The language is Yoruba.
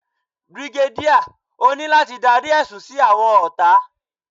Brigadier, o ni lati darí ẹsun si awọn ọta.